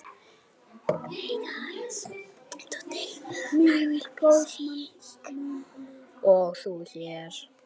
og þú hér?